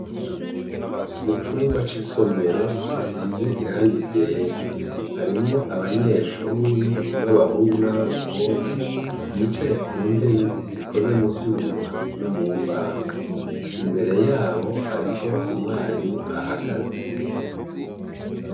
Mu cumba c'isomero gisize irangiryera harimwo abanyeshuri b'abahungu n'aboabakobwa bicaye ku ntebe zikoze mu vyuma no mu mbaho imbere yabo hariho umwarimu ahagaze.